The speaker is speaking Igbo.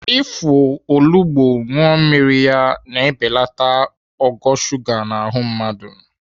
Ịfụ olugbo aṅụ mmiri ya na-ebelata ogo shuga n'ahụ mmadụ.